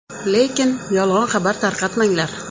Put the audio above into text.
Lekin yolg‘on xabar tarqatmanglar.